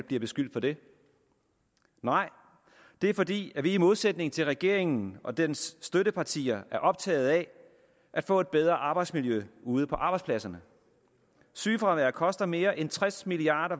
bliver beskyldt for det nej det er fordi vi i modsætning til regeringen og dens støttepartier er optaget af at få et bedre arbejdsmiljø ude på arbejdspladserne sygefraværet koster mere end tres milliard